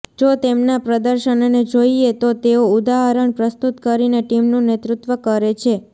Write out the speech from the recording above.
જો તેમના પ્રદર્શનને જોઇએ તો તેઓ ઉદાહરણ પ્રસ્તૂત કરીને ટીમનું નેતૃત્વ કરે છે